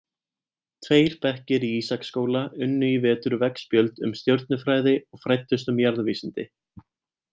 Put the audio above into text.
Tveir bekkir í Ísaksskóla unnu í vetur veggspjöld um stjörnufræði og fræddust um jarðvísindi.